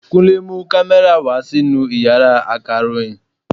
Kúnle mú kámẹ́rà wa sínú Ìyàrá akàròyìn.